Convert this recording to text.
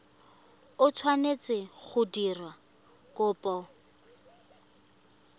o tshwanetseng go dira kopo